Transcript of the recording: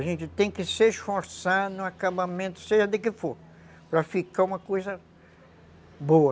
A gente tem que se esforçar no acabamento, seja de que for, para ficar uma coisa boa.